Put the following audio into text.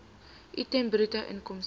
item bruto inkomste